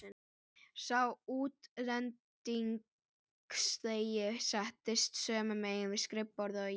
Sá útlendingslegi settist sömu megin við skrifborðið og ég.